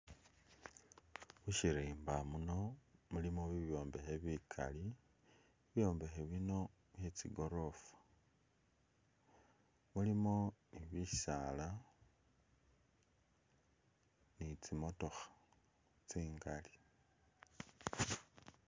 Mushirimba muno mulimo bibyombekhe bikaali bibyombekhe bino byetsi goorofa mulimo bisaala ni tsi'motokha tsingali